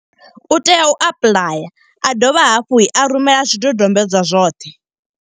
U tea u apuḽaya, a dovha hafhu a rumela zwidodombedzwa zwoṱhe.